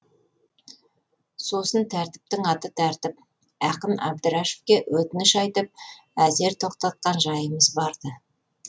сосын тәртіптің аты тәртіп ақын әбдірашевке өтініш айтып әзер тоқтатқан жайымыз бар ды